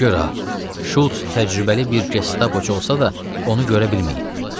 Gör ha, Şults təcrübəli bir gestapochu olsa da, onu görə bilməyib.